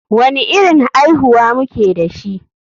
Wani irin aihuwa muke dashi?